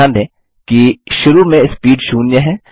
ध्यान दें कि शुरू में स्पीड 0 है